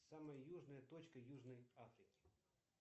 самая южная точка южной африки